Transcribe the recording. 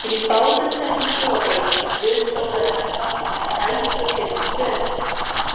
Í báðum þessum trúarbrögðum var guð sólarinnar táknaður með eldfuglinum Fönix.